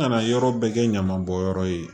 An kana yɔrɔ bɛɛ kɛ ɲamabɔnyɔrɔ ye